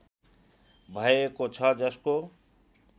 भएको छ जसको